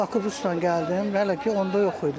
Bakıbusla gəldim hələ ki onda yox idi.